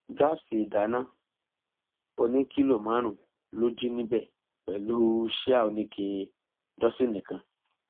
gáàsì ìdáná ọnì kìlọ márùnún ló jí níbẹ pẹlú síà oníke dósinni kan